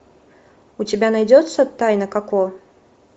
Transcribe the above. у тебя найдется тайна коко